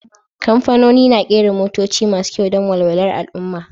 Kamfanoni na kera motoci masu kyau don walwalar al'ummah